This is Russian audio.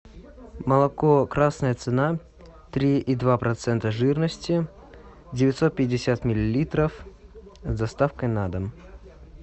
молоко красная цена три и два процента жирности девятьсот пятьдесят миллилитров с доставкой на дом